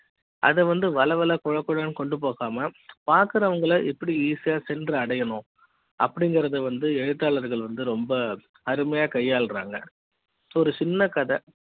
அத வந்து வளவள கொழகொழ ம் கொண்டு போகாம பாக்குற வங்க எப்படி ஈஸி யா சென்று அடைய ணும் அப்படிங்கறது வந்து எழுத்தாளர்கள் வந்து ரொம்ப அருமை யா கையால்றாங்க ஒரு சின்ன கதை